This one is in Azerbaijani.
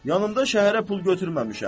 Yanımda şəhərə pul götürməmişəm.